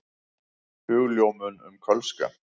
Hugljómun um kölska.